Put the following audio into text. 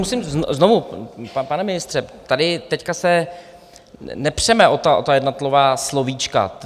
Musím znovu, pane ministře, tady teď se nepřeme o ta jednotlivá slovíčka.